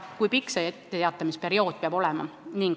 Kui pikk see etteteatamise aeg peaks olema?